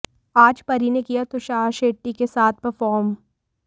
आज परी ने किया तुषार शेट्टी के साथ परफॉर्म